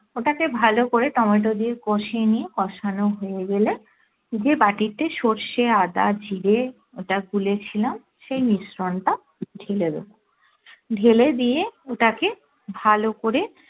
ওটাকে ভালো করে টমেটো দিয়ে কষিয়ে নিয়ে কষানো হয়ে গেলে যে বাটিতে সর্ষে আদা জিরে ওটা গুলে ছিলাম সেই মিশ্রণ টা ঢেলে দেব ঢেলে দিয়ে ওটাকে ভালো করে